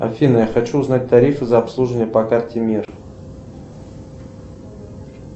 афина я хочу узнать тарифы за обслуживание по карте мир